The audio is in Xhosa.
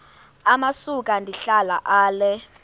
amasuka ndihlala ale